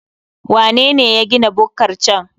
Wanene ya gina bukkar can?